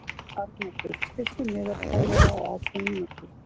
Arnoddur, stilltu niðurteljara á átján mínútur.